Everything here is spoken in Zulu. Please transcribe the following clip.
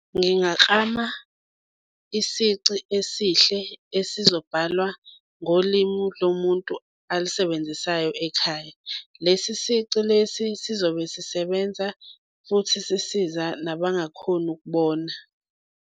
Ngingaklama isici esihle esizobhalwa ngolimu lomuntu alisebenzisayo ekhaya. Lesi sici lesi sizobe sisebenza futhi sisiza nabangakhoni ukubona.